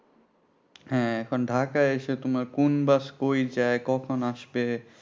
হ্যাঁ, এখন ঢাকায় এসে তোমার কোন bus কই যায় কখন আসবে